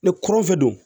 Ne kɔrɔnfɛ don